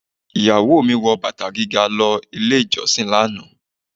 Ìyàwó mi wọ bàtà gíga lọ ilé ìjọsìn lánàá.